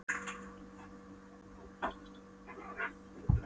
Járnnámurnar þar eru undirstaða stál- og bílaiðnaðarins í Bandaríkjunum.